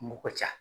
Mɔgɔ ca